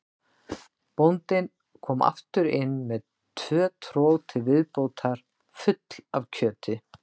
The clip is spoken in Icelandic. Bóndinn kom aftur inn með tvö trog til viðbótar full af kjöti.